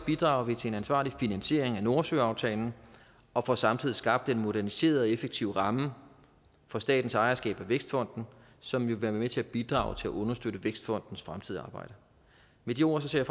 bidrager vi til en ansvarlig finansiering af nordsøaftalen og får samtidig skabt den moderniserede og effektive ramme for statens ejerskab af vækstfonden som vil være med til at bidrage til at understøtte vækstfondens fremtidige arbejde med de ord ser